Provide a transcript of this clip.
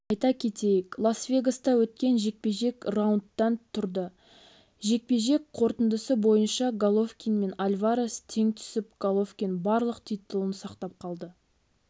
айта кетейік лас-вегаста өткен жекпе-жек раундтан тұрды жекпе-жек қорытындысы бойынша головкин мен альварес тең түсіп головкин барлық титулын сақтап қалды